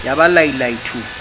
ya ba lai lai thu